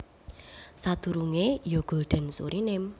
Sadurungé ya Gulden Suriname